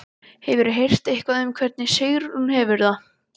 Hefurðu heyrt eitthvað um hvernig Sigrún hefur það?